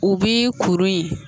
U bi kuru in